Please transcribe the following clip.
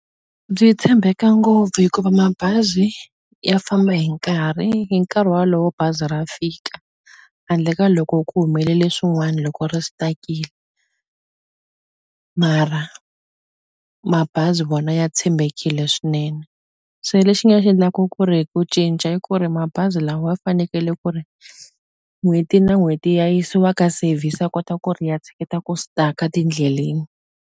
Byi tshembeka ngopfu hikuva mabazi ya famba hi nkarhi hi nkarhi walowo bazi ra fika handle ka loko ku humelele swin'wani loko ri stuck-ini mara mabazi vona ya tshembekile swinene se lexi nga xi endlaku ku ri ku cinca i ku ri mabazi lawa fanekele ku ri n'hweti na n'hweti ya yisiwa ka service ya kota ku ri ya tshiketa ku stuck-a tindleleni.